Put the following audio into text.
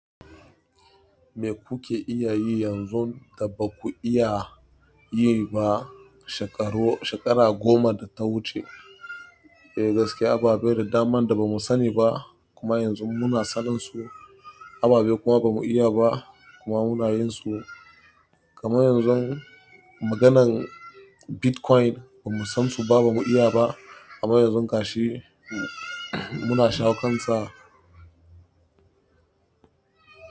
Me kuke iya yi yanzun da ba ku iya yi ba shekaru shekara goma da ta wuce? Eh gaskiya, ababe da daman da ba mu sani ba kuma yanzu muna sanin su, ababe kuma ba mu iya ba kuma muna yin su. Kamar yanzu maganan Bitcoin ba mu san su ba ba mu iya ba, amma yanzun gashi muna shawo kan sa.